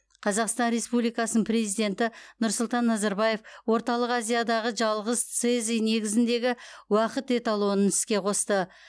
қазақстан республикасының президенті нұрсұлтан назарбаев орталық азиядағы жалғыз цезий негізіндегі уақыт эталонын іске қосты